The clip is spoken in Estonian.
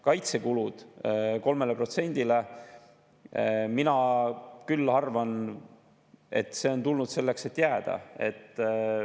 Kaitsekulude 3%‑le – mina küll arvan, et see on tulnud selleks, et jääda.